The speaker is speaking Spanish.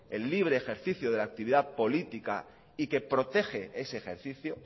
el libre ejercicio de la actividad política y que protege ese ejercicio